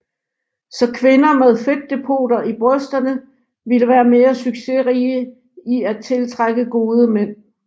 Så kvinder med fedtdepoter i brysterne ville være mere succesrige i at tiltrække gode mænd